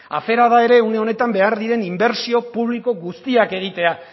afera da une honetan behar diren inbertsio publiko guztiak egitea